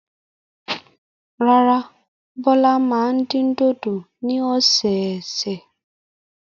Rárá, Bọ́lá máa dín dòdò ní ọ̀sẹ̀ẹ̀sẹ̀.